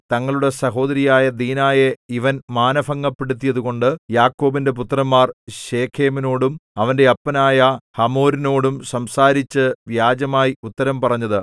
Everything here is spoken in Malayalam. തങ്ങളുടെ സഹോദരിയായ ദീനായെ ഇവൻ മാനഭംഗപ്പെടുത്തിയതുകൊണ്ട് യാക്കോബിന്റെ പുത്രന്മാർ ശെഖേമിനോടും അവന്റെ അപ്പനായ ഹമോരിനോടും സംസാരിച്ചു വ്യാജമായി ഉത്തരം പറഞ്ഞത്